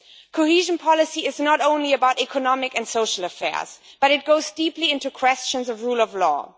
Cohesion policy is not only about economic and social affairs, it goes deeply into questions of rule of law.